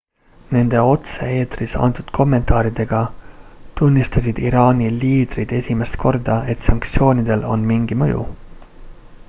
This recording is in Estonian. nende otse-eetris antud kommentaaridega tunnistasid iraani liidrid esimest korda et sanktsioonidel on mingi mõju